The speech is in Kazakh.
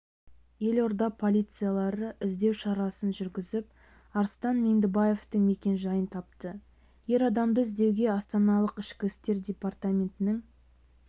елорда полициялары іздеу шарасын жүргізіп арыстан меңдібаевтың мекенжайын тапты ер адамды іздеуге астаналық ішкі істер департаментінің